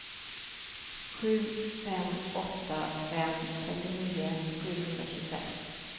sju fem åtta fem trettionio sjuhundratjugosex